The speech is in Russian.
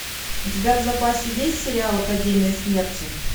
у тебя в запасе есть сериал академия смерти